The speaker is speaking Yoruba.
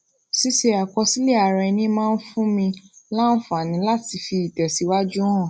ṣíṣe àkọsílè ara ẹni máa ń fúnni láǹfààní láti fi itèsíwájú hàn